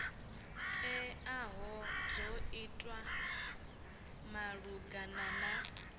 teaho dzo itwa malugana na